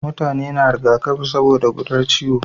Mutane na riga kafi saboda gudar wa ciwo